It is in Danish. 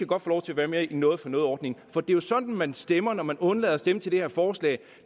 godt få lov til at være med i noget for noget ordningen for det er jo sådan man stemmer når man undlader at stemme til det her forslag